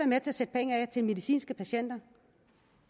med til at sætte penge af til medicinske patienter